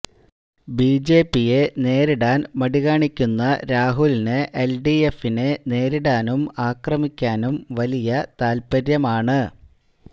ബിജെപിയെ നേരിടാന് മടി കാണിക്കുന്ന രാഹുലിന് എല്ഡിഎഫിനെ നേരിടാനും അക്രമിക്കാനും വലിയ താത്പര്യമാണ്